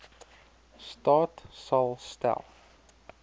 staat sal stel